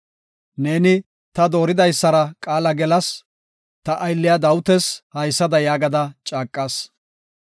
Neeni, “Ta dooridaysara qaala gelas; Ta aylliya Dawitas haysada yaagada caaqas;